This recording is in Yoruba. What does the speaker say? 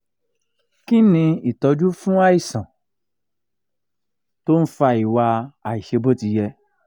kí ni itoju fún àìsàn tó ń fa iwa aisebotiye?